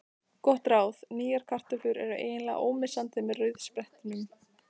Gott ráð: Nýjar kartöflur eru eiginlega ómissandi með rauðsprettunni.